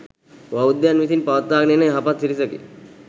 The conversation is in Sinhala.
බෞද්ධයන් විසින් පවත්වාගෙන එන යහපත් සිරිතකි.